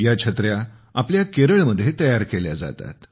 या छत्र्या आपल्या केरळमध्ये तयार केल्या जातात